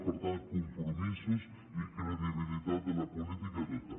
per tant compromisos i credibilitat de la política tota